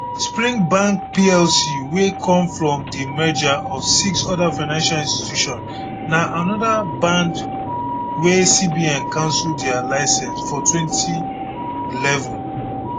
spring bank plc wey come from di merger of six oda financial institutions na anoda band wey cbn cancel dia licence for 2011